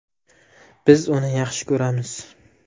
Biz uni yaxshi ko‘ramiz.